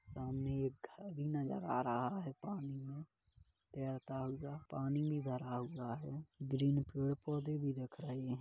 सामने एक घर भी नजर आ रहा है पानी मे तेरता हुआ पानी भी भर हुआ है ग्रीन पेड़ पोधे भी दीख रहे है।